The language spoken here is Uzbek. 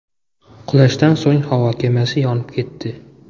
Qulashdan so‘ng havo kemasi yonib ketdi.